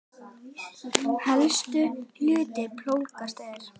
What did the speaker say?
Helstu hlutar plógs eru